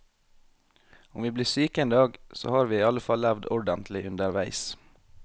Om vi blir syke en dag, så har vi i alle fall levd ordentlig underveis.